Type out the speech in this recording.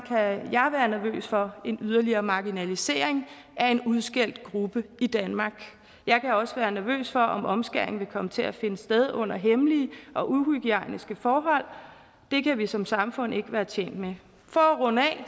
kan jeg være nervøs for en yderligere marginalisering af en udskældt gruppe i danmark jeg kan også være nervøs for om omskæring vil komme til at finde sted under hemmelige og uhygiejniske forhold det kan vi som samfund ikke være tjent med for at runde af